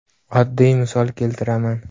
Oddiy misol keltiraman.